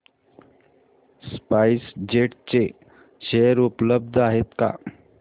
spice jet चे share उपलब्ध आहेत का